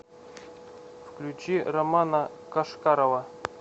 включи романа кошкарова